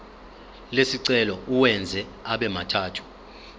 lesicelo uwenze abemathathu